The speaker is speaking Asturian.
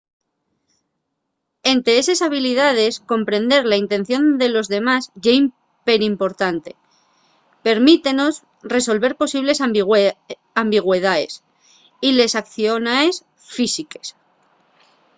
ente eses habilidaes comprender la intención de los demás ye perimportante permítenos resolver posibles ambigüedaes de les aiciones físiques